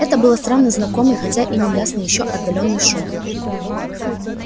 это был странно знакомый хотя и неясный ещё отдалённый шум